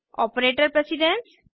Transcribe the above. operator precedence